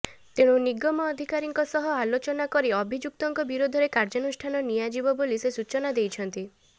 ତେଣୁ ନିଗମ ଅଧିକାରୀଙ୍କ ସହ ଅଲୋଚନା କରି ଅଭିଯୁକ୍ତଙ୍କ ବିରୋଧରେ କାର୍ଯ୍ୟାନୁଷ୍ଠାନ ନିଆଯିବ ବୋଲି ସେ ସୂଚନା ଦେଇଛନ୍ତି